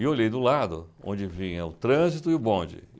E eu olhei do lado, onde vinha o trânsito e o bonde.